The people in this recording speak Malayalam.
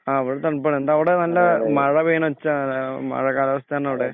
ആ ഇവ്ടെതണുപ്പാണ് ന്ത അവടെ നല്ല മഴപെയ്യണെയൊച്ച മഴക്കാലാവസ്ഥണൊഅവ്ടെ